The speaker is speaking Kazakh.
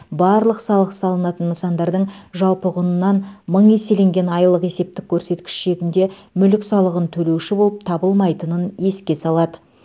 барлық салық салынатын нысандардың жалпы құнынан мың еселенген айлық есептік көрсеткіш шегінде мүлік салығын төлеуші болып табылмайтынын еске салады